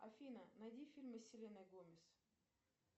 афина найди фильмы с селеной гомез